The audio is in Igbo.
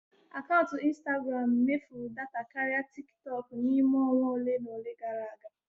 Akaụntụ instagram m mefuru data karịa tikitooku n'ime onwa ole na ole gara aga.